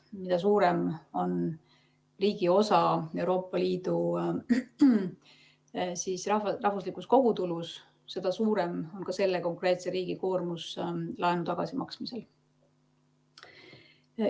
Mida suurem on riigi osa Euroopa Liidu rahvuslikus kogutulus, seda suurem on selle konkreetse riigi koormus laenu tagasimaksmisel.